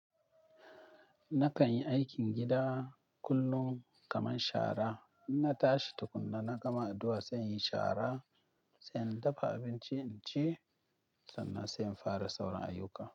Na kanyi aikin gida kullum kaman shara. Inna tashi tukunna, na gama addu'a, sai inyi shara, sai in dafa abinci inci, sannan sai in fara sauran ayuka.